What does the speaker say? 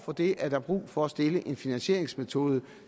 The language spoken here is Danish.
for det er der brug for at stille en finansieringsmetode